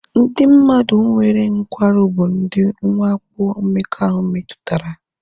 Ndị mmadụ nwere nkwarụ bụ ndị nwakpo mmekọahụ metụtara